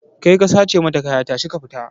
Kai ka sace mata kaya tashi ka fita!